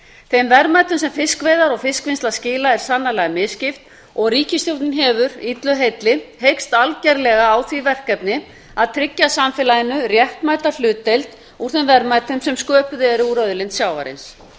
þeim verðmætum sem fiskveiðar og fiskvinnsla skila er sannarlega misskipt og ríkisstjórnin hefur illu heilli heykst algerlega á því verkefni að tryggja samfélaginu réttmæta hlutdeild í þeim verðmætum sem sköpuð eru úr auðlind sjávarins